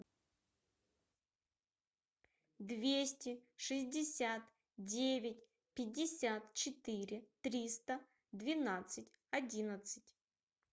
двести шестьдесят девять пятьдесят четыре триста двенадцать одиннадцать